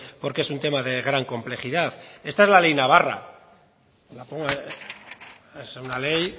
porque es un tema de gran complejidad esta es la ley navarra es una ley